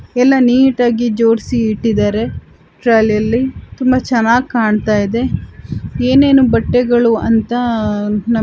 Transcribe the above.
ಎಲ್ಲಾ ನೀಟಾ ಗಿ ಜೋಡಿಸಿ ಇಟ್ಟಿದ್ದಾರೆ ಟ್ರಾಲಿ ಯಲ್ಲಿ ತುಂಬಾ ಚೆನ್ನಾಗಿ ಕಾಣ್ತಾ ಇದೆ ಏನೇನೂ ಬಟ್ಟೆಗಳೂ ಅಂತ --